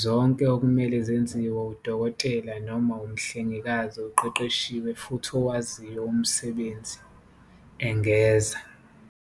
zonke okumele zenziwe udokotela noma umhlengikazi oqeqeshiwe futhi owaziyo umsebenzi," engeza."